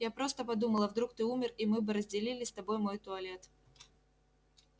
я просто подумала вдруг ты умер и мы бы разделили с тобой мой туалет